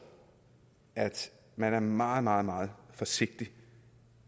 at man er meget meget meget forsigtig